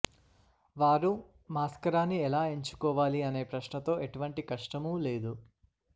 వారు మాస్కరాని ఎలా ఎంచుకోవాలి అనే ప్రశ్నతో ఎటువంటి కష్టమూ లేదు